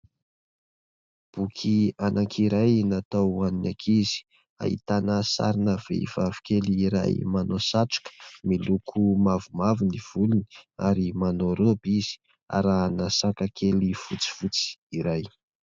Boky anankiray natao ho an'ny ankizy, ahitana sarina vehivavy kely iray manao satroka miloko mavomavo ny volony ary manao rôby izy arahina saka kely fotsifotsy iray.